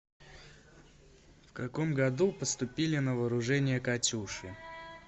в каком году поступили на вооружение катюши